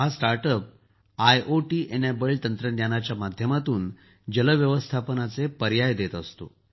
हा startup IoT समर्थित तंत्रज्ञानाच्या माध्यमातून जल व्यवस्थापनाचे पर्याय देत असतो